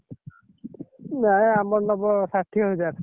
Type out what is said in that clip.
ନାଇ ଆମର ନବ ଷାଠିଏ ହଜାର।